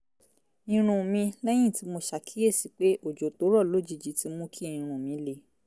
irun mi lẹ́yìn tí mo ṣàkíyèsí pé òjò tó rọ̀ lójijì ti mú kí irun mi le